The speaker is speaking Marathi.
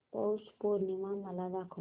पौष पौर्णिमा मला दाखव